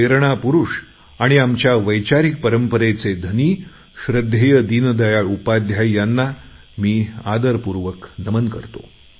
प्रेरणा पुरुष आणि आम्हाला वैचारिक परंपरा देणारे श्रध्देय दीनदयाळ उपाध्याय यांना मी आदरपूर्वक नमन करतो